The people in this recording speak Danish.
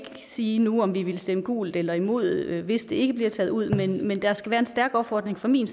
sige nu om vi vil stemme gult eller imod hvis det ikke bliver taget ud men der skal være en stærk opfordring fra min